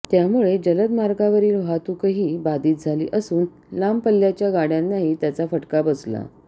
त्यामुळे जलद मार्गावरील वाहतूकही बाधित झाली असून लांब पल्ल्याच्या गाडय़ांनाही त्याचा फटका बसला